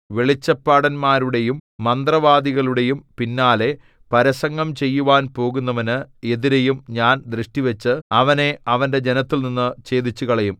വെളിച്ചപ്പാടന്മാരുടെയും മന്ത്രവാദികളുടെയും പിന്നാലെ പരസംഗം ചെയ്യുവാൻ പോകുന്നവന് എതിരെയും ഞാൻ ദൃഷ്ടിവച്ച് അവനെ അവന്റെ ജനത്തിൽനിന്നു ഛേദിച്ചുകളയും